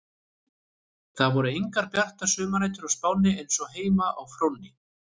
Það voru engar bjartar sumarnætur á Spáni eins og heima á Fróni.